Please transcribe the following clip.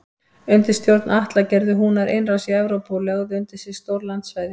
Undir stjórn Atla gerðu Húnar innrás í Evrópu og lögðu undir sig stór landsvæði.